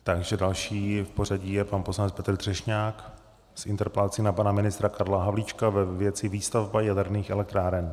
Takže další v pořadí je pan poslanec Petr Třešňák s interpelací na pana ministra Karla Havlíčka ve věci výstavba jaderných elektráren.